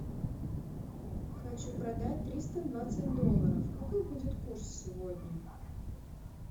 хочу продать триста двадцать долларов какой будет курс сегодня